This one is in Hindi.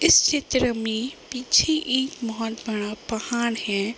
इस चित्र में पीछे एक बहोत बड़ा पहाड़ हैं ।